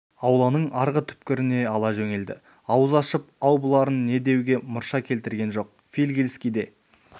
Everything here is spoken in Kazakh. ауланың арғы түкпіріне ала жөнелді ауыз ашып ау бұларың не деуге мұрша келтірген жоқ фигельский де